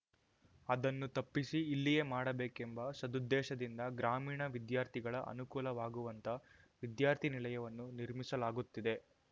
ಅದನ್ನು ತಪ್ಪಿಸಿ ಇಲ್ಲಿಯೇ ಮಾಡಬೇಕೆಂಬ ಸದುದ್ದೇಶದಿಂದ ಗ್ರಾಮೀಣ ವಿದ್ಯಾರ್ಥಿಗಳ ಅನುಕೂಲವಾಗುವಂತ ವಿದ್ಯಾರ್ಥಿ ನಿಲಯವನ್ನು ನಿರ್ಮಿಸಲಾಗುತ್ತಿದೆ